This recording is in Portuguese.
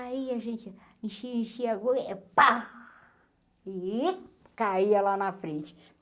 Aí a gente... Enchia, enchia, e pá... E... Caia lá na frente.